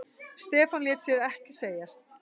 Stefán lét sér ekki segjast.